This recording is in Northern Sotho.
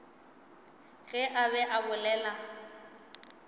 ge a be a bolela